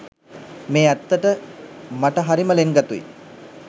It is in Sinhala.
මේ ඇත්තට මට හරිම ළෙන්ගතුයි.